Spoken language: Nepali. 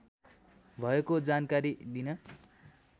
भएको जानकारी दिन